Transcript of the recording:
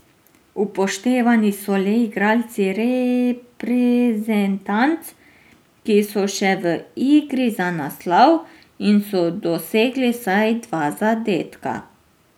Upoštevani so le igralci reprezentanc, ki so še v igri za naslov, in so dosegli vsaj dva zadetka.